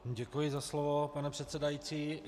Děkuji za slovo, pane předsedající.